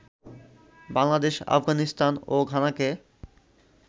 Bangladesh, Afghanistan ও ঘানাকে